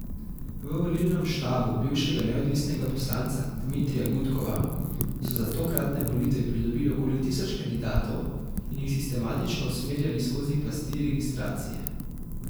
V volilnem štabu bivšega neodvisnega poslanca Dmitrija Gudkova so za tokratne volitve pridobil okoli tisoč kandidatov in jih sistematično usmerjali skozi pasti registracije.